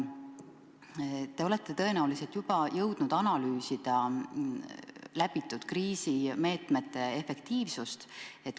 Te olete tõenäoliselt juba jõudnud analüüsida rakendatud kriisimeetmete efektiivsust.